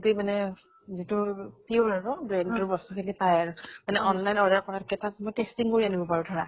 গোটেই মানে যিটো pure আৰু brand ৰ বস্তু খিনি পায় আৰু। মানে online order কৰাত্কে তাত মই testing কৰি আনিব পাৰো ধৰা।